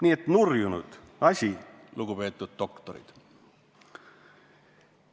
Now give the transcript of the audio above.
Nii et see oli nurjunud asi, lugupeetud doktorid!